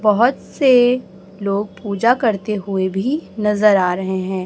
बहोत से लोग पूजा करते हुए भी नजर आ रहे हैं।